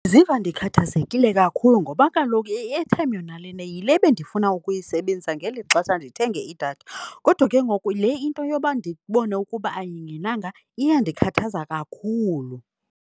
Ndiziva ndikhathazekile kakhulu ngoba kaloku i-airtime yona lena yile bendifuna ukuyisebenzisa ngeli xesha ndithenge idatha. Kodwa ke ngoku le into yoba ndibone ukuba ayingenanga iyandikhathaza kakhulu.